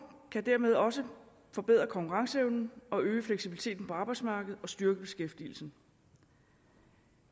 kan dermed også forbedre konkurrenceevnen og øge fleksibiliteten på arbejdsmarkedet og styrke beskæftigelsen